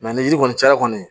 ni yiri kɔni cayara kɔni